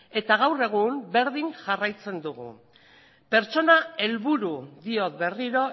eta gaur egun berdin jarraitzen dugu pertsona helburu diot berriro